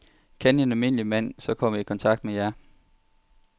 Kan en almindelig mand så komme i kontakt med jer?